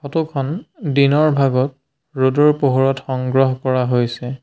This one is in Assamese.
ফটো খন দিনৰ ভাগত ৰ'দৰ পোহৰত সংগ্ৰহ কৰা হৈছে।